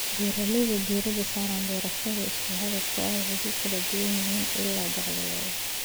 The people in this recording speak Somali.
Beeraleyda diiradda saara beerashada isku dhafka ah waxay ku kala duwan yihiin ilaha dakhligooda.